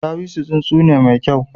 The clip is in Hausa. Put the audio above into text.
Ɗawisu tsuntsu ne mai kyau.